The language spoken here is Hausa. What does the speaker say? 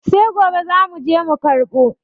Sai gobe zamu je mu karɓo.